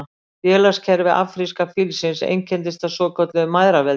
Félagskerfi afríska fílsins einkennist af svokölluðu mæðraveldi.